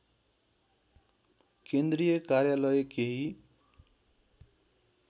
केन्द्रीय कार्यालय केही